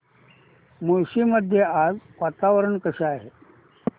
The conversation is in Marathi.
मुळशी मध्ये आज वातावरण कसे आहे